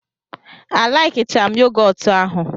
a laikicham yogotu ahụ.